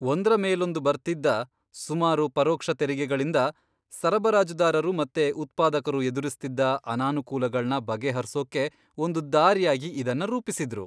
ಒಂದ್ರಮೇಲೊಂದು ಬರ್ತಿದ್ದ ಸುಮಾರು ಪರೋಕ್ಷ ತೆರಿಗೆಗಳಿಂದ ಸರಬರಾಜುದಾರರು ಮತ್ತೆ ಉತ್ಪಾದಕರು ಎದುರಿಸ್ತಿದ್ದ ಅನಾನುಕೂಲಗಳ್ನ ಬಗೆಹರ್ಸೋಕೆ ಒಂದು ದಾರಿಯಾಗಿ ಇದನ್ನ ರೂಪಿಸಿದ್ರು.